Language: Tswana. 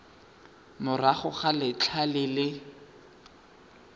morago ga letlha le le